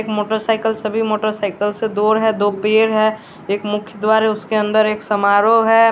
एक motorcycle सभी motorcycle से दोर है दो पेड़ है एक मुख्य द्वार है उसके अंदर एक समारोह है।